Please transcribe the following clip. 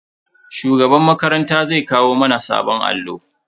Shugaban makaranta zai kawo mana sabon allo.